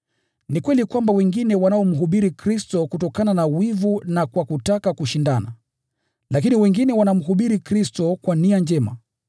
Ni kweli kwamba wengine wanamhubiri Kristo kutokana na wivu na kwa kutaka kushindana, lakini wengine wanamhubiri Kristo kwa nia njema.